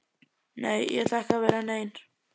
Nei, ég ætla ekki að vera nein